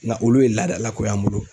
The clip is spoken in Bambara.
Ŋa olu ye laadala ko y'an bolo.